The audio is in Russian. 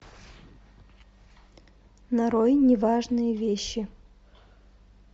нарой неважные вещи